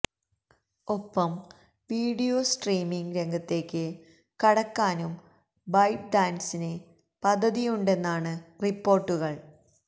ഒപ്പം video streaming രംഗത്തേക്ക് കടക്കാനും ബൈറ്റ് ഡാന്സിന് പദ്ധതിയുണ്ടെന്നാണ് റിപ്പോര്ട്ടുകള്